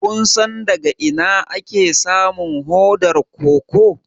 Kun san daga ina ake samun hodar koko?